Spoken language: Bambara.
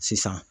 Sisan